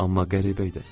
Amma qəribə idi.